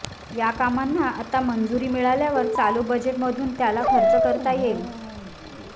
या कामांना आता मंजुरी मिळाल्यावर चालू बजेटमधून त्याला खर्च करता येईल